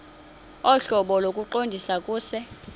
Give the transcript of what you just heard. ohlobo lokuqondisa kuse